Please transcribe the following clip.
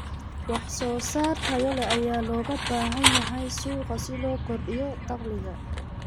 Wax soo saar tayo leh ayaa looga baahan yahay suuqa si loo kordhiyo dakhliga.